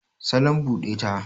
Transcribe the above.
salon bude ta